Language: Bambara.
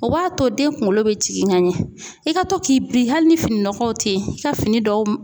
O b'a to den kuŋolo be jigin ka ɲɛ. I ka to k'i bi hali ni fini nɔgɔw te ye i ka fini dɔw m